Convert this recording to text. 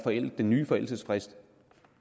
den nye forældelsesfrist